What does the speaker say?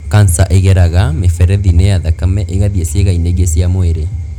kanca ĩgereraga mĩberethi-inĩ ya thakame ĩgathiĩ ciĩga-inĩ ingĩ cia mwĩrĩ.